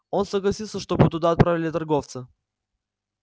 он согласился чтобы туда отправили торговца